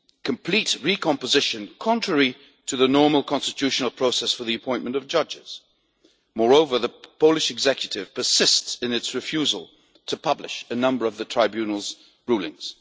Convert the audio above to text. complete recomposition, contrary to the normal constitutional process for the appointment of judges. Moreover, the Polish executive persists in its refusal to publish a number of the Tribunal's rulings.